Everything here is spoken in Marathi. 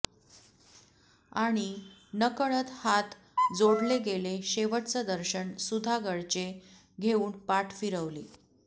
आणि नकळत हात जोडले गेले शेवटच दर्शन सुधागडचे घेवून पाठ फिरवली